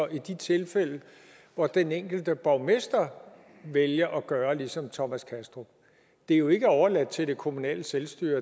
i de tilfælde hvor den enkelte borgmester vælger at gøre ligesom thomas kastrup det er jo ikke overladt til det kommunale selvstyre